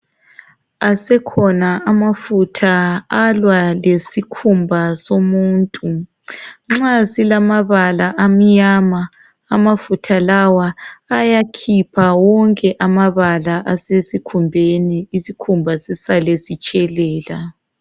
Asekhona amafutha alwa lesikhumba somuntu. Nxa silamabala amnyama amafutha lawa ayakhipha wonke amabala asesikhumbeni, isikhumba sisale sitshelela.